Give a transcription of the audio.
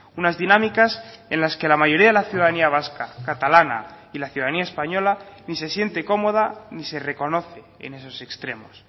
unas dinámicas en las que la mayoría de la ciudadanía vasca catalana y la ciudadanía española ni se siente cómoda ni se reconoce en esos extremos